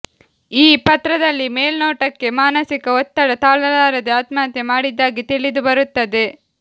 ಈ ಪತ್ರದಲ್ಲಿ ಮೇಲ್ನೋಟಕ್ಕೆ ಮಾನಸಿಕ ಒತ್ತಡ ತಾಳಲಾರದೆ ಆತ್ಮಹತ್ಯೆ ಮಾಡಿದ್ದಾಗಿ ತಿಳಿದು ಬರುತ್ತದೆ